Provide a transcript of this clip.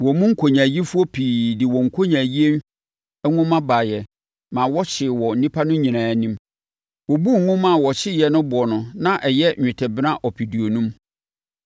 Wɔn mu nkonyaayifoɔ pii de wɔn nkonyaayie nwoma baeɛ maa wɔhyee wɔ nnipa no nyinaa anim. Wɔbuu nwoma a wɔhyeeɛ no boɔ no na ɛyɛ nnwetɛbena ɔpeduonum.